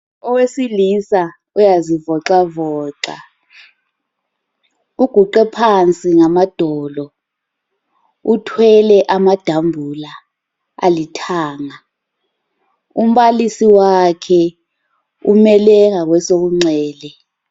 Owesilisa uyazivoxavoxa, uguqe phansi ngamadolo, uthwele amadambula alithanga. Umbalisi wakhe umele ngakwesokunxele.